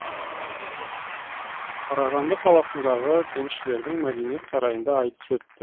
қарағанды қаласындағы кеншілердің мәдениет сарайында айтыс өтті